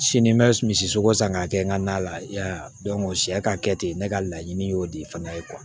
Sini n bɛ misi sogo san k'a kɛ n ka na la sɛ sɛ ka kɛ ten ne ka laɲini y'o de fana ye